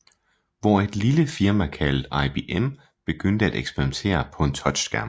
Hvor et lille firma kaldt IBM begynde at eksperimentere på en touchskærm